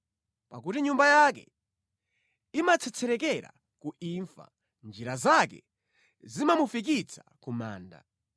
Pakuti nyumba yake imatsetserekera ku imfa; njira zake zimamufikitsa ku manda.